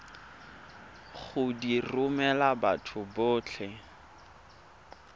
go di romela batho botlhe